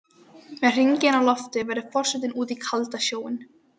Með hringinn á lofti veður forsetinn út í kaldan sjóinn.